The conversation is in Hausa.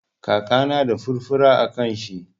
Kakana na da furfura a kan shi.